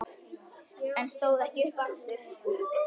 En stóð ekki upp aftur.